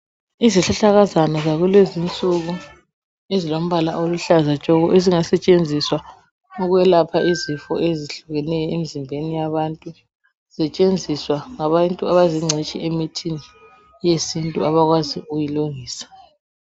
Izihlahlakazana zakulezi insuku, ezilombala oluhlaza tshoko ezingasetshenziswa ukwelatshwa izifo ezihlukeneyo emzimbeni yabantu. Zisetshenziswa ngabantu abazingcitshi emithini yesintu, abakwazi ukuyilungisa.